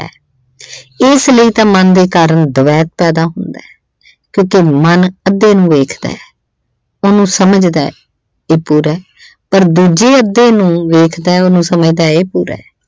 ਏਸ ਲਈ ਤਾਂ ਮਨ ਦੇ ਕਾਰਨ ਦਵੈਤ ਪੈਦਾ ਹੁੰਦਾ ਕਿਉਂਕਿ ਮਨ ਅੱਧੇ ਨੂੰ ਵੇਖਦਾ, ਉਹਨੂੰ ਸਮਝਦਾ ਇਹ ਪੂਰਾ। ਪਰ ਦੂਜੇ ਅੱਧੇ ਨੂੰ ਵੇਖਦਾ, ਉਹਨੂੰ ਸਮਝਦਾ ਇਹ ਪੂਰਾ।